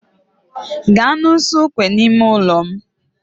Gaa n'usekwu nọ n'ime ụlọ m